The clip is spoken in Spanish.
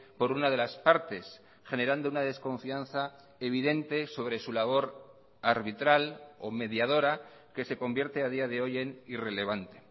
por una de las partes generando una desconfianza evidente sobre su labor arbitral o mediadora que se convierte a día de hoy en irrelevante